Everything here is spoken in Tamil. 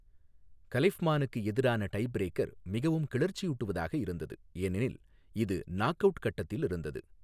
கலிஃப்மானுக்கு எதிரான டைபிரேக்கர் மிகவும் கிளர்ச்சியூட்டுவதாக இருந்தது ஏனெனில் இது நாக் அவுட் கட்டத்தில் இருந்தது.